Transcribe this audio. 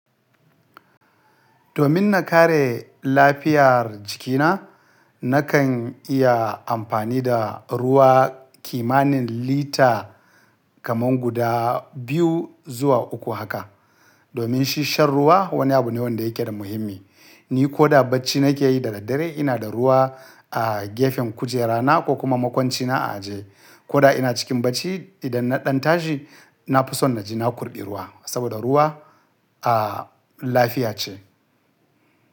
Domin na kare lafiyar jikina, nakan iya amfani da ruwa kimanin lita kaman guda biyu zuwa uku haka. Domin shin shan ruwa wani abu ne wanda yake da muhimmi. Ni koda bacci nake yi da daddare ina da ruwa a gefen kujerana ko kuma makwancina a ajiye. Koda ina cikin bacci idan na ɗan tashi, na fi son na je na kurɓi ruwa saboda ruwa, a, lafiya ce.